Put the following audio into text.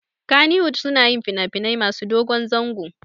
Kannywood suna yin finafinai masu dogon zango